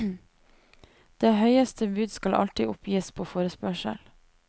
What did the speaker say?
Det høyeste bud skal alltid oppgis på forespørsel.